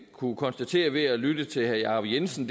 kunnet konstatere ved at lytte til herre jacob jensen